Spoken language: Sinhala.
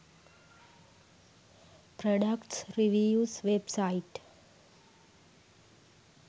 products reviews website